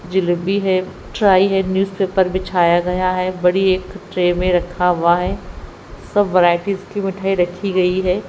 जलेबी है ट्राई है न्यूजपेपर बिछाया गया है बड़ी एक ट्रे में रखा हुआ है सब वैराइटीज की मिठाई रखी गई है।